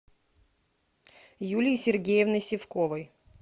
юлии сергеевны сивковой